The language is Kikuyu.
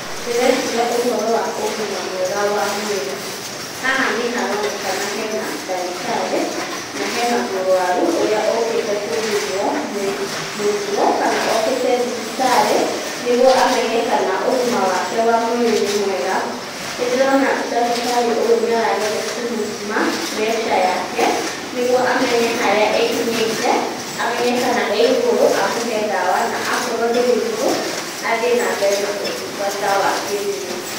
Ndĩreciria ũhoro wa ũgima mwega wa mwĩrĩ haha nĩ haronekana hena ngadĩtarĩ na hena mũrwaru ũrĩa ũkĩte gũthimwo nĩ mũrimũ kana okĩte thibitarĩ nĩguo amenye kana ũgima wake wa mwĩrĩ nĩ mwega, nĩ ndĩrona ndagĩtarĩ ũyũ nĩ arageria kũmũthima pressure yake nĩguo amenye harĩa ĩkinyĩte amenye kana ĩ igũrũ amuhe ndawa na akorwo ndĩrĩ igũrũ athie na mbere na ũtungata wa kĩmwĩrĩ.